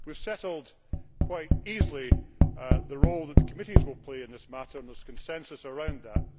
We have settled quite easily the role that the committees will play in this matter, and there is consensus around that.